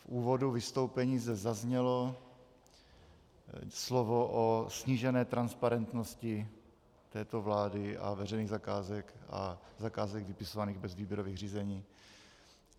V úvodu vystoupení zde zaznělo slovo o snížené transparentnosti této vlády a veřejných zakázek a zakázek vypisovaných bez výběrových řízení.